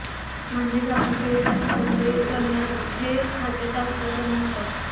म्हणजेच आपण पैसे हस्तांतरित करताच ते खात्यात तात्काळ जमा होतात